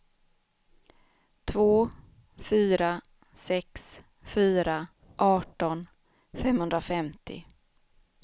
två fyra sex fyra arton femhundrafemtio